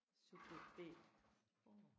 Subjekt B